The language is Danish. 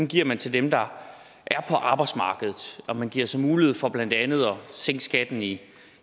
giver man til dem der er på arbejdsmarkedet og man giver så mulighed for blandt andet at sænke skatten i